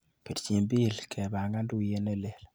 Pirchi Bill kepangan tuiyet nelel.